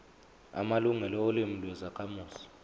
amalungelo olimi lwezakhamuzi